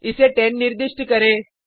इस 10 निर्दिष्ट करें